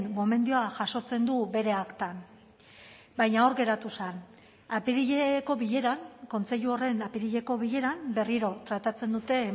gomendioa jasotzen du bere aktan baina hor geratu zen apirileko bileran kontseilu horren apirileko bileran berriro tratatzen dute